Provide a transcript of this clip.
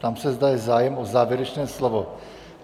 Ptám se, zda je zájem o závěrečné slovo?